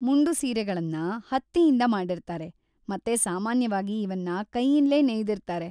ಮುಂಡು ಸೀರೆಗಳನ್ನ ಹತ್ತಿಯಿಂದ ಮಾಡಿರ್ತಾರೆ ಮತ್ತೆ ಸಾಮಾನ್ಯವಾಗಿ ಇವನ್ನ ಕೈಯಿಂದ್ಲೇ ನೇಯ್ದಿರ್ತಾರೆ.